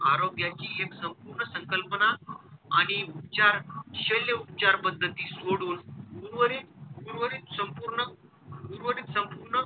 आरोग्याची एक संपूर्ण संकप्लना आणि उपचार शैल्य उपचार पद्धती सोडून उर्वरित उर्वरित संपूर्ण उर्वरित संपूर्ण,